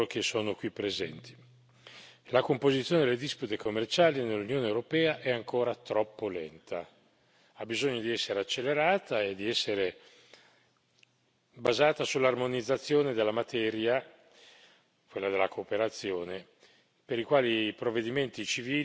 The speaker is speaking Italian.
La composizione delle dispute commerciali nell'Unione europea è ancora troppo lenta, ha bisogno di essere accelerata e di essere basata sull'armonizzazione di una materia, quella della cooperazione, per la quale i provvedimenti civili sono ancora tra di loro molto